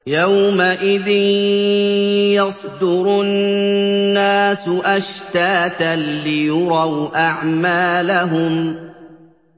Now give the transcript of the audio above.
يَوْمَئِذٍ يَصْدُرُ النَّاسُ أَشْتَاتًا لِّيُرَوْا أَعْمَالَهُمْ